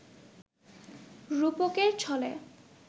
রূপকের ছলে